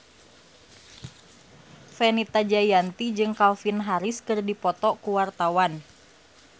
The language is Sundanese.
Fenita Jayanti jeung Calvin Harris keur dipoto ku wartawan